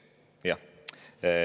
Jah.